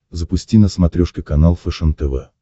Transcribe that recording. запусти на смотрешке канал фэшен тв